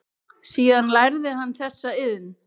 Síðan lærði hann þessa iðn.